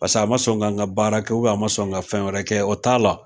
Pas'a ma sɔn ka n ka baara kɛ a ma sɔn n ka fɛn wɛrɛ kɛ,o t'a la.